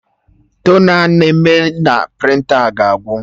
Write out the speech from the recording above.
Tona a na-eme na prịnta ga-agwụ